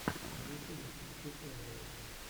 на ютюбе включи эвриал